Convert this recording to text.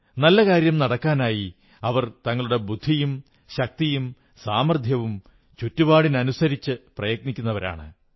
നല്ല കാര്യം നടക്കാനായി അവർ തങ്ങളുടെ ബുദ്ധിയും ശക്തിയും സാമർഥ്യവും ചുറ്റുപാടിനുമനുസരിച്ച് പ്രയത്നിക്കുന്നവരാണ്